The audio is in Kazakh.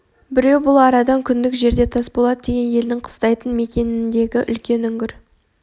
біреу бұл арадан күндік жерде тасболат деген елдің қыстайтын мекеніндегі үлкен үңгір